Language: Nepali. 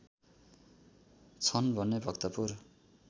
छन् भने भक्तपुर